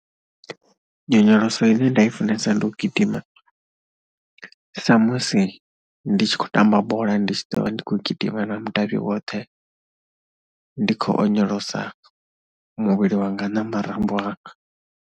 Nyonyoloso ine nda i funesa ndi u gidima samusi ndi tshi khou tamba bola, ndi tshi ḓo vha ndi khou gidima na mudavhi woṱhe, ndi tshi khou onyolosa muvhili wanga na marambo anga.